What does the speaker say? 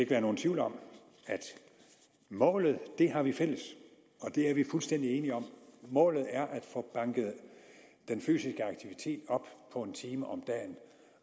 være nogen tvivl om at målet har vi fælles og det er vi fuldstændig enige om målet er at få banket den fysiske aktivitet op på en time om dagen